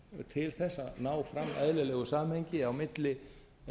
til þess að ná fram eðlilegu samhengi á milli